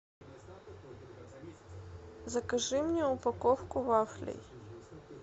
закажи мне упаковку вафлей